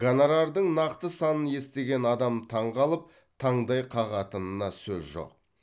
гонорардың нақты санын естіген адам таңқалып таңдай қағатынына сөз жоқ